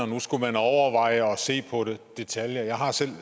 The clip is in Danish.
man skulle overveje det og se på detaljer jeg har selv